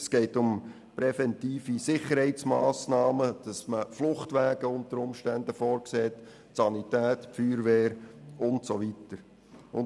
Es geht um präventive Sicherheitsmassnahmen, dass man unter Umständen Fluchtwege vorsieht, die Sanität und Feuerwehr informiert.